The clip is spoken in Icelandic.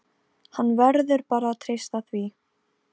Hann verður bara að treysta því.